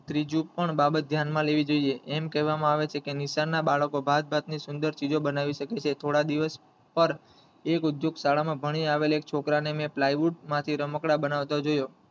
ત્રીજું પણ બાબત ધ્યાન માં લેવી જોયે એમ કેવા માં આવે છે કે નિશાળ ના બાળકો ભાત ભાતની સુંદર ચીજો બનાવી શકે છે થોડા દિવસ પર એક ઉદ્યોગ શાળામાં ભણી આવેલી મેં એક છોકરા ને મેં plywood માંથી રમકડાં બનાવતો જોયો